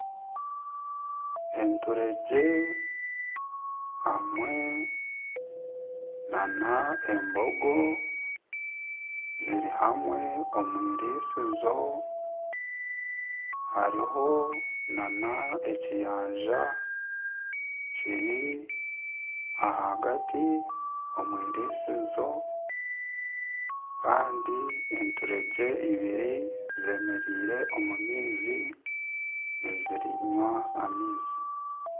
Enturegye hamwe n'embogo ziri hamwe omwirisizo hariho n'ekiyanja kiri ahagati omwirisizo Kandi enturegye ebiri zemereire omu maizi nizinywa amaizi.